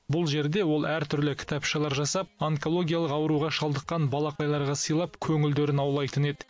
бұл жерде ол әртүрлі кітапшалар жасап онкологиялық ауруға шалдыққан балақайларға сыйлап көңілдерін аулайтын еді